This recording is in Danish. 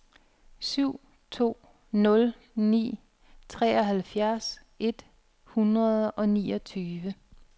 syv to nul ni treoghalvfjerds et hundrede og niogtyve